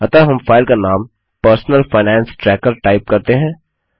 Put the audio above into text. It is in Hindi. अतः हम फाइल का नाम पर्सनल फाइनेंस ट्रैकर टाइप करते हैं